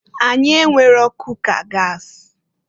Anyị enwero kuka gas.